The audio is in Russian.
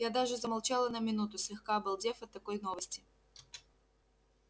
я даже замолчала на минуту слегка обалдев от такой новости